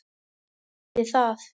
Það yrði það.